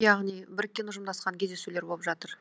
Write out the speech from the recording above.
яғни біріккен ұжымдасқан кездесулер болып жатыр